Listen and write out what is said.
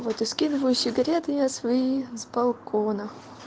вот и скидываю сигареты я свои с балкона